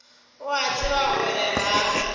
o a tseba gore ga